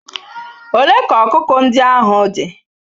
Ole ka ọkụkọ ndị ahụ dị?